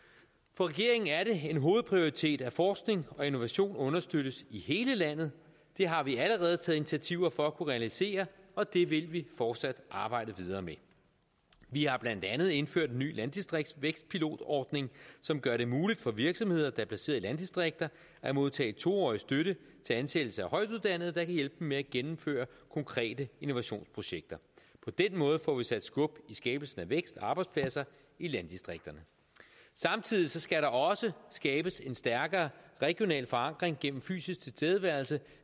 for regeringen er det en hovedprioritet at forskning og innovation understøttes i hele landet det har vi allerede taget initiativer for at kunne realisere og det vil vi fortsat arbejde videre med vi har blandt andet indført en ny landdistriktsvækstpilotordning som gør det muligt for virksomheder der er baseret i landdistrikter at modtage to årig støtte til ansættelse af højtuddannede der kan hjælpe dem med at gennemføre konkrete innovationsprojekter på den måde får vi sat skub i skabelsen af vækst og arbejdspladser i landdistrikterne samtidig skal der også skabes en stærkere regional forankring gennem fysisk tilstedeværelse